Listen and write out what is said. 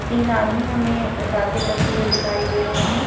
तीन आदमी हमें बातें करते हुए दिखाई दे रहे हैं।